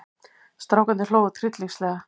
Strákarnir hlógu tryllingslega.